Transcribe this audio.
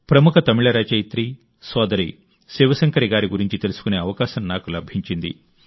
ప్రముఖ తమిళ రచయిత్రి సోదరి శివశంకరి గారి గురించి తెలుసుకునే అవకాశం నాకు లభించింది